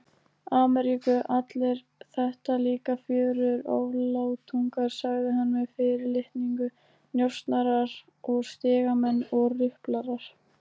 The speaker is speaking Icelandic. Ameríku, allir þetta líka fjörugir oflátungar, sagði hann með fyrirlitningu, njósnarar og stigamenn og ruplarar.